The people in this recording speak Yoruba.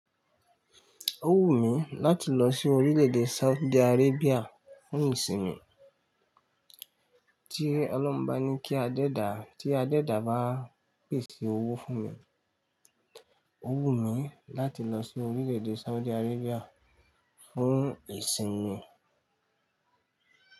Ó wù mí láti lọ sí orílẹ̀-èdè Saudi Arabia fún ìsinmi. Tí Ọlọ́run bá ní kí a dé dà, tí a dé dà bá pèsè owó fún mi, ó wù mí láti lọ sí orílẹ̀-èdè Saudi Arabia fún ìsinmi.